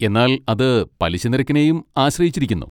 എന്നാൽ അത് പലിശ നിരക്കിനെയും ആശ്രയിച്ചിരിക്കുന്നു.